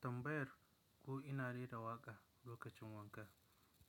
Tambayar ko ina rera waƙa lokacin wanka,